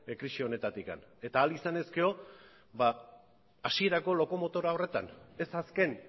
krisi honetatik eta ahal izan ezkero hasierako lokomotora horretan ez azken